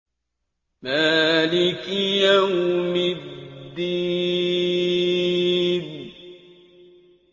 مَالِكِ يَوْمِ الدِّينِ